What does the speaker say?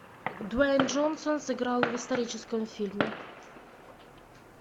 дуэйн джонсон сыграл в историческом фильме